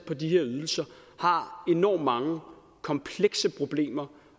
på de her ydelser har enormt mange komplekse problemer